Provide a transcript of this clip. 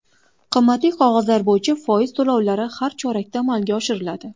Qimmatli qog‘ozlar bo‘yicha foiz to‘lovlari har chorakda amalga oshiriladi.